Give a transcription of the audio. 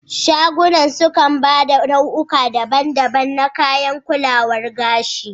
Shagunan sukan ba da nau'uka daban daban na kayan kulawar gashi